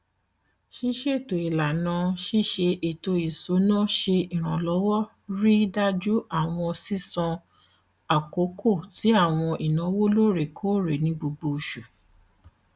ṣiṣeto ilana ṣiṣe eto isuna ṣe iranlọwọ rii daju awọn sisanwo akoko ti awọn inawo loorekoore ni gbogbo oṣu